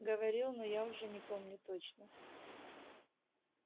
говорил но я уже не помню точно